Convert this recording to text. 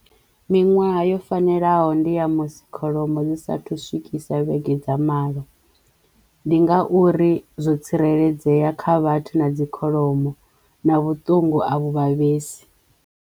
Miṅwaha yo fanelaho ndi ya musi kholomo dzi sathu swikisa vhege dza malo. Ndi ngauri zwo tsireledzeya kha vhathu na dzikholomo na vhuṱungu a vhu vhavhelesi.